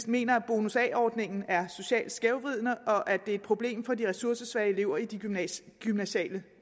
mener at bonus a ordningen er socialt skævvridende og at det er et problem for de ressourcesvage elever i de gymnasiale